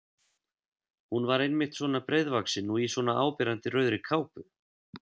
Hún var einmitt svona breiðvaxin og í svona áberandi rauðri kápu!